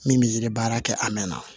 Min bɛ yiri baara kɛ a mɛn na